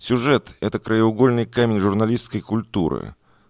сюжет это краеугольный камень журналисткой культуры